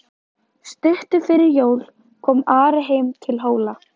Stuttu fyrir jól kom Ari heim til Hóla.